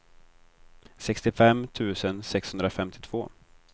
sextiofem tusen sexhundrafemtiotvå